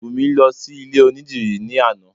Bùnmi lọ sí ilé onídìrí ní àná